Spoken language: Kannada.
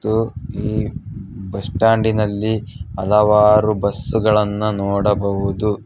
ದು ಈ ಬಸ್ ಸ್ಟಾಂಡಿನಲ್ಲಿ ಹಲವಾರು ಬಸ್ಸುಗಳನ್ನ ನೋಡಬಹುದು.